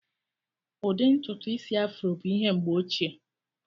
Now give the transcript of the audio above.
Ụdị ntutu Ịsị Afro bụ ihe mgbe ochie.